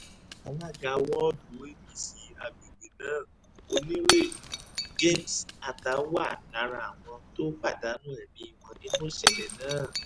alága wọ́ọ̀dù apc àgbègbè náà onírèbù james atah wà lára àwọn tó pàdánù ẹ̀mí wọn nínú ìṣẹ̀lẹ̀ náà